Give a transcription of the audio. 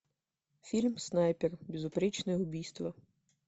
фильм снайпер безупречное убийство